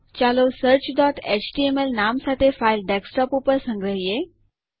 ચાલો searchએચટીએમએલ નામ સાથે ફાઈલ ડેસ્કટોપ ઉપર સંગ્રહીયે